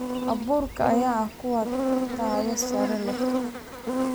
Abuurka ayaa ah kuwa tayo sare leh.